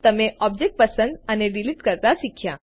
તમે ઓબ્જેક્ટ પસંદ અને ડીલીટ કરતા શીખ્યા